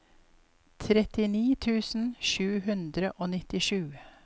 trettini tusen sju hundre og nittisju